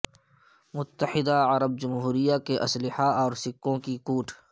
متحدہ عرب جمہوریہ کے اسلحہ اور سککوں کی کوٹ